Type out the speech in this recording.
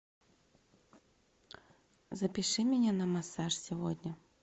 запиши меня на массаж сегодня